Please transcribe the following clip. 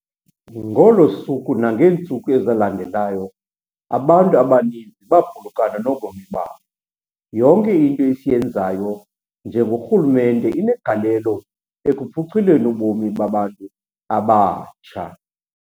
Ngolo suku nangeentsuku ezalandelayo, abantu abaninzi baphulukana nobomi babo. Yonke into esiyenzayo njengorhulumente inegalelo ekuphuculeni ubomi babantu abatsha.